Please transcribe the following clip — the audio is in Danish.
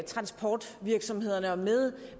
transportvirksomhederne og med